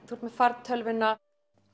þú ert með fartölvuna